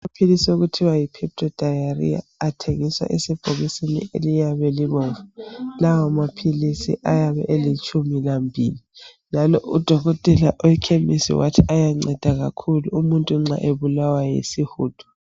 amaphilisi akuthiwa yi pepto diarrhea athengiswa esebhokisini eliyabe libomvu lawa maphilisi ayabe elitshumi lambili njalo udokotela wekhemisi wathi ayanceda kakhulu umuntu nxa ebulawa yisihudo